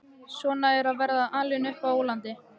Svona er að vera alinn á ólandi.